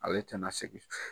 Ale tɛna segin